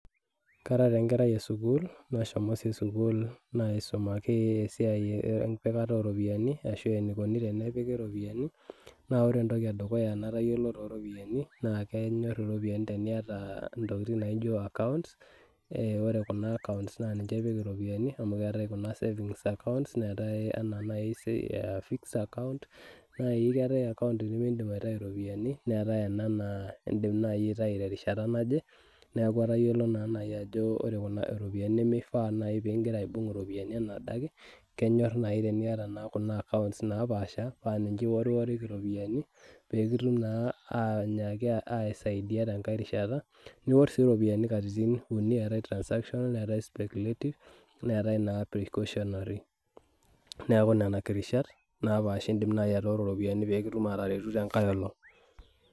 karaa taa enkerai esukul naisumaki esiai empikata ooraopiyiani enikoni tenepiki iropiyiani naa iyiolo entoki edukuya natayiolo too ropiyani naa kenyor iropiyiani tiniyata intokitin naaijo accounts ore kuna accounts naa niche ipik iropiyiani amu keetae kuna e esavings anaa naaji fix account naa keeta ena naa idim naaji aitayu terishata naje neeku atayiolo naaji ajo ore iropiyiani nimifaa pigira aibung'bung'kila enaa adake kenyor naaji tenaa eyata kuna accounts naapaasha paa niche iwuoriwuoriki iropiyiani pee kitum naa aisaidia tengae rishata niwuor sii iropiyiani katitin uni amu etae sii transaction netae speculative netae naa precautionary neeku nena kirashata etae ooropiyiani pee kitum naaji aateretu teng'ae elong'.